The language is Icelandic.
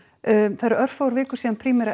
það eru örfáar vikur síðan Primera